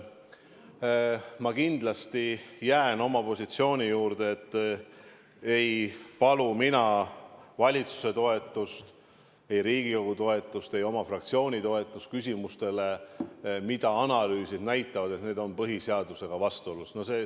Ma jään kindlasti oma positsiooni juurde, et ei palu mina valitsuse toetust, Riigikogu toetust ega oma fraktsiooni toetust küsimustele, mille puhul analüüsid näitavad, et need on põhiseadusega vastuolus.